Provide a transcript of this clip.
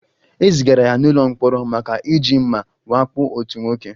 E zigara ya n'ụlọ mkpọrọ maka iji mma wakpo otu nwoke.